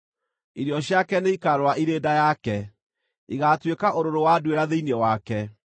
irio ciake nĩikarũra irĩ nda yake; igaatuĩka ũrũrũ wa nduĩra thĩinĩ wake.